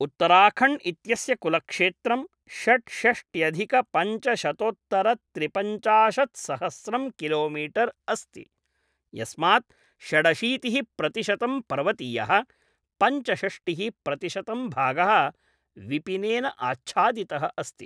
उत्तराखण्ड् इत्यस्य कुलक्षेत्रं षड्षष्ट्यधिकपञ्चशतोत्तरत्रिपञ्चाशत्सहस्रं किलोमीटर् अस्ति, यस्मात् षडशीतिः प्रतिशतं पर्वतीयः, पञ्चषष्टिः प्रतिशतं भागः विपिनेन आच्छादितः अस्ति।